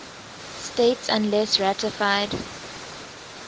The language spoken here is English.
states unless ratified